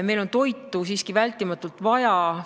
Meil on toitu siiski vältimatult vaja.